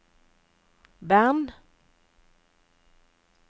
Bern